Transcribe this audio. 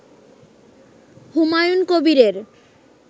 হুমায়ুন কবিরের